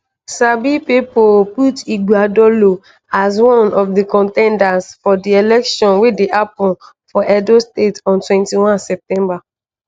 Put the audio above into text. sabi pipo put ighodalo as one of di con ten ders for di election wey dey happun for edo state on 21 september.